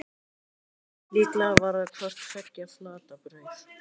Líklega var það hvort tveggja flatbrauð.